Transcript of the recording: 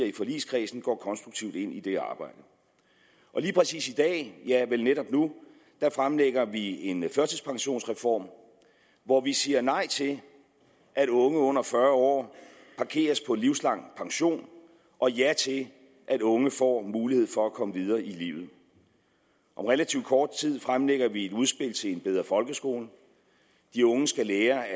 i forligskredsen går konstruktivt ind i det arbejde lige præcis i dag ja vel netop nu fremlægger vi en førtidspensionsreform hvor vi siger nej til at unge under fyrre år parkeres på livslang pension og ja til at unge får mulighed for at komme videre i livet om relativt kort tid fremlægger vi et udspil til en bedre folkeskole de unge skal lære at